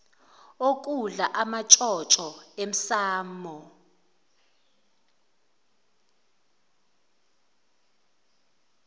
okudla amantshontsho emsamo